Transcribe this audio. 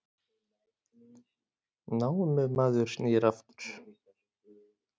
Námumaður snýr aftur